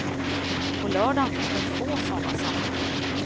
På lördagen fick hon få sådana samtal.